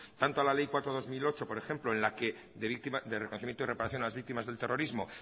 tanto a la ley cuatro barra dos mil ocho por ejemplo de reconocimiento y reparación a las víctimas del terrorismo